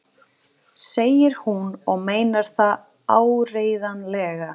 segir hún og meinar það áreiðanlega.